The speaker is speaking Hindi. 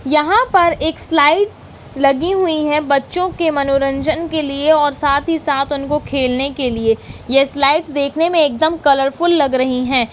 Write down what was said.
यहां पर एक स्लाईड लगीं हुईं है बच्चों के मनोरंजन के लिए और साथ ही साथ उनको खेलने के लिये ये स्लाईड देखने में एकदम कलरफुल लग रहीं हैं।